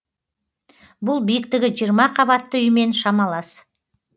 бұл биіктігі жиырма қабатты үймен шамалас